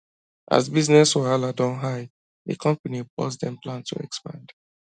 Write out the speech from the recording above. as business wahala don high di company pause dem plan to expand